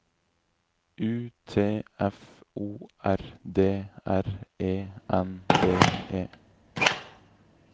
U T F O R D R E N D E